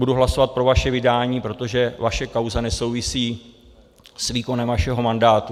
Budu hlasovat pro vaše vydání, protože vaše kauza nesouvisí s výkonem vašeho mandátu.